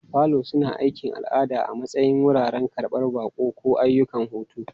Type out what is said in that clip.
Falo suna aiki a al'ada a matsayin wuraren karɓan baƙi, ko ayyukan hutu.